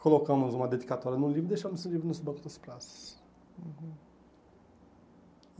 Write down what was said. Colocamos uma dedicatória num livro e deixamos esse livro no banco das praças. Uhum